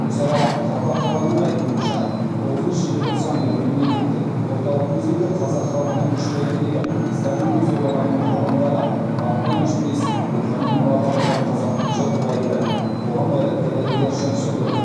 гүлсара жапақованың айтуынша тоғызыншы желтоқсан күні мемлекеттік орталық музейде қазақ халықының үш бәйтерегі сталиндік зобалаңның құрбандары артынан өшпес рухани мұра қалдырған қазақтың жыр құлагері қоғам қайраткері ілияс жансүгіров